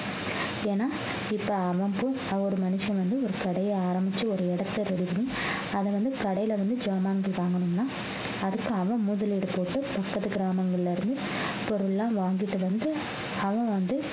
ஏன்னா இப்ப அவன் ஒரு மனுஷன் வந்து ஒரு கடையை ஆரம்பிச்சு ஒரு இடத்தை ready பண்ணி அதை வந்து கடையில வந்து சாமான்கள் வாங்கணும்னா அதுக்கு அவன் முதலீடு போட்டு பக்கத்து கிராமங்கள்ல இருந்து பொருள் எல்லாம் வாங்கிட்டு வந்து அவன் வந்து